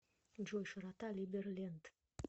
джой широта либерленд